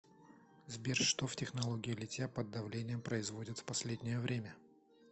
сбер что в технологии литья под давлением производят в последнее время